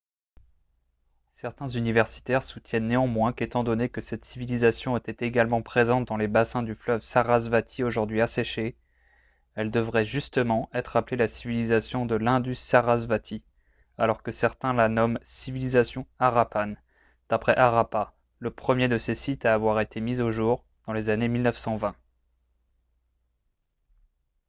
certains universitaires soutiennent néanmoins qu'étant donné que cette civilisation était également présente dans les bassins du fleuve sarasvati aujourd'hui asséché elle devrait justement être appelée la civilisation de l'indus-sarasvati alors que certains la nomment civilisation harappan d'après harappa le premier de ses sites à avoir été mis au jour dans les années 1920